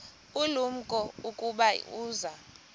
ulumko ukuba uza